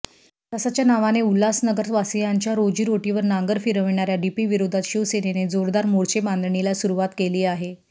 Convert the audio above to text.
विकासाच्या नावाने उल्हासनगरवासीयांच्या रोजीरोटीवर नांगर फिरवणाऱ्या डीपीविरोधात शिवसेनेने जोरदार मोर्चेबांधणीला सुरुवात केली आहे